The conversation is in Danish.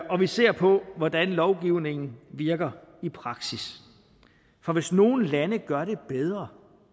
og vi ser på hvordan lovgivningen virker i praksis for hvis nogle lande gør det bedre